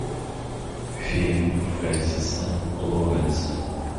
фильм фрэнсиса лоуренса